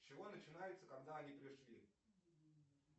с чего начинается когда они пришли